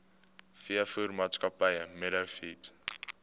veevoermaatskappy meadow feeds